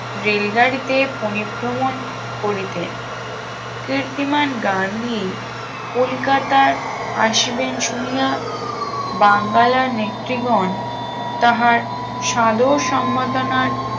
রেলগাড়িতে পরিভ্রমন করিতেন কৃত্তিমান গান্ধী কলিকাতার আসিবেন শুনিয়া বাঙ্গালা নেত্রীগণ তাহার সাদর সম্বর্ধনার